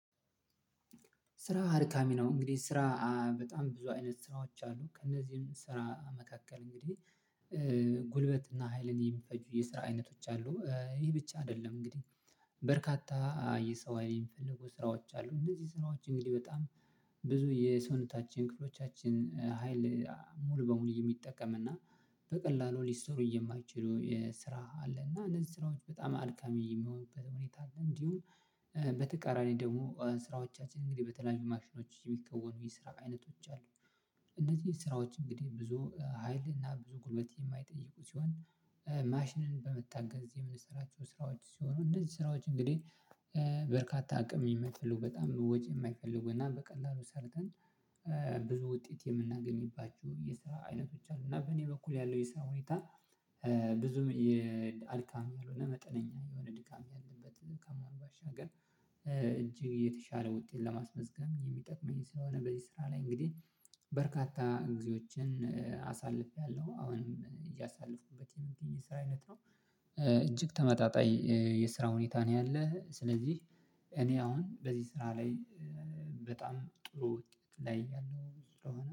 ስራ አድካሚ ነው። እንግዲህ ስራ በጣም ብዙ አይነት ስራዎች አሉ ከእነዚህም ስራ መካከል እንግዲህ ጉልበትና ሀይልን የሚፈጁ የስራ አይነቶች አሉ። ይህ ብቻ አይደለም እንግዲህ በርካታ የሰው ሀይል የሚፈልጉ ስራዎች አሉ። እነዚህ ስራዎች እንግዲህ በጣም ብዙ የሰውነታችን ክፍሎቻችን ሀይል ሙሉ በሙሉ የሚጠቀም እና በቀላሉ ሊሰሩ የማይችለው የስራ አለ እና እነዚህ ስራዎች በጣም አልካሚ የሚሆኑበት ሁኔታ አለ እንዲሁም በተቃራኒ ደግሞ ስራዎቻችን እንግዲህ በተለያዩ ማሽኖች የሚከወኑ የስራ አይነቶች አሉ እነዚህ ስራዎች እንግዲህ ብዙ ሀይል እና ብዙ ጉልበት የማይጠይቁ ሲሆን ማሽንን በመታገዝ የምንሰራቸው ስራዎች ሲሆኑ እንደዚህ ስራዎች እንግዲህ በርካታ አቅም የሚፈልጉ በጣም ወጪ የማይፈልጉ እና በቀላሉ ሰርተን ብዙ ውጤት የምናገኝባችሁ የስራ አይነቶች አሉ እና በእኔ በኩል ያለው የስራ ሁኔታ ብዙ የአድካሚ ያልሆነ መጠነኛ የሆነ ድካም ያለበት ከመሆን ባሻገር እጅግ የተሻለ ውጤት ለማስመዝገብ የሚጠቅመኝ ስለሆነ በዚህ ስራ ላይ እንግዲህ በርካታ እግዚያዎችን አሳልፌያለሁ አሁንም እያሳለፍኩበት የስራ አይነት ነው እጅግ ተመጣጣኝ የስራ ሁኔታ ነው ያለህ ስለዚህ እኔ አሁን በዚህ ስራ ላይ በጣም ጥሩ ላይ ያለው ስለሆነ